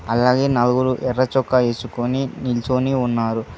అలాగే నలుగురు ఎర్రచొక్కా ఏసుకొని నించొని ఉన్నారు.